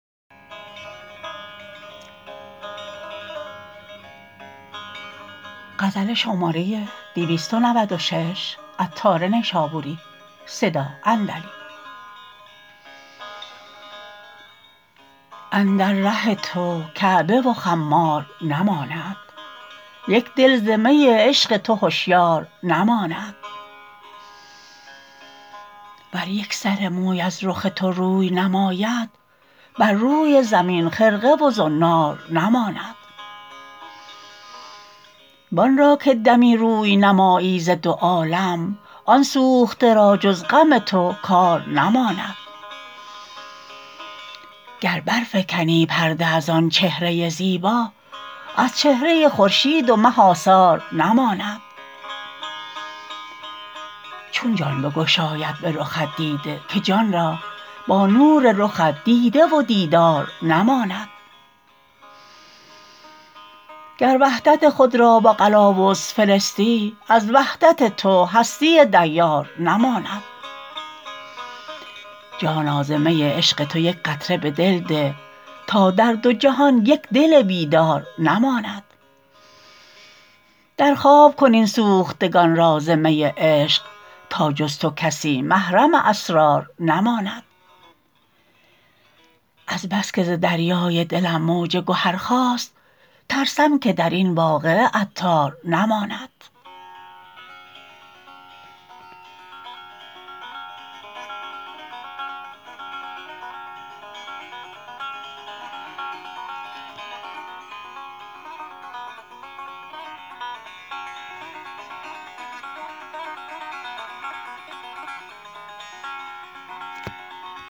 گرد ره تو کعبه و خمار نماند یک دل ز می عشق تو هشیار نماند ور یک سر موی از رخ تو روی نماید بر روی زمین خرقه و زنار نماند وآن را که دمی روی نمایی ز دو عالم آن سوخته را جز غم تو کار نماند گر برفکنی پرده از آن چهره زیبا از چهره خورشید و مه آثار نماند جان چون بگشاید به رخت دیده که جان را با نور رخت دیده و دیدار نماند گر وحدت خود را به قلاووز فرستی از وحدت تو هستی دیار نماند جانا ز می عشق تو یک قطره به دل ده تا در دو جهان یک دل بیدار نماند در خواب کن این سوختگان را ز می عشق تا جز تو کسی محرم اسرار نماند از بس که ز دریای دلم موج گهر خاست ترسم که درین واقعه عطار نماند